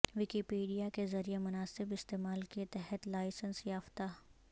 Wikipedia کے ذریعے مناسب استعمال کے تحت لائسنس یافتہ